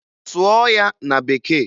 Sụọ ya na Bekee!